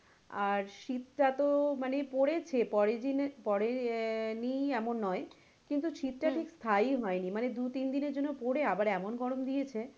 আর শীত টা তো পড়েছে পড়েনি এমন নয় কিন্তু শীত টা ঠিক স্থায়ী হয়নি মানে দু তিন দিনের জন্য পড়ে তারপরে আবার এমন গরম দিয়েছে